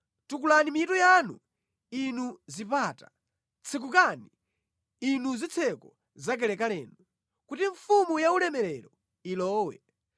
Tukulani mitu yanu, inu zipata; tsekukani, inu zitseko zakalekalenu, kuti Mfumu yaulemerero ilowe.